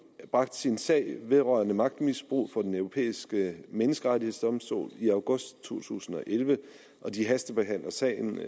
sin sag vedrørende magtmisbrug for den europæiske menneskerettighedsdomstol i august to tusind og elleve og de hastebehandler sagen